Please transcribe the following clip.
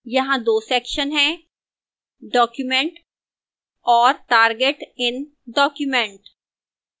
यहां 2 sections हैं